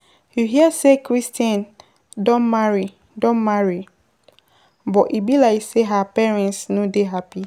You hear say Christain don marry don marry But e be like say her parents no dey happy.